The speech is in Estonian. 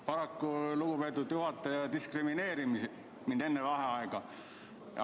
Paraku lugupeetud juhataja diskrimineeris mind enne vaheaega.